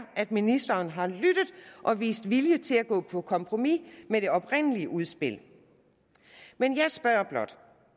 at ministeren har lyttet og vist vilje til at gå på kompromis med det oprindelige udspil men jeg spørger blot